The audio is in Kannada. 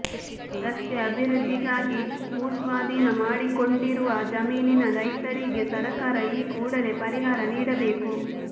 ರಸ್ತೆ ಅಭಿವೃದ್ಧಿಗಾಗಿ ಭೂಸ್ವಾಧೀನ ಮಾಡಿಕೊಂಡಿರುವ ಜಮೀನಿನ ರೈತರಿಗೆ ಸರಕಾರ ಈ ಕೂಡಲೇ ಪರಿಹಾರ ನೀಡಬೇಕು